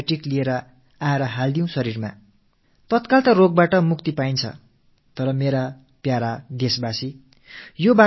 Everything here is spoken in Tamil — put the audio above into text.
நோய் ஏற்படும் போது விரைவாக குணமாக வேண்டும் என்பதற்காக ஏதோ ஒரு antibioticஐ வாயில் போட்டு முழுங்க வேண்டும் என்று நினைக்கிறோம்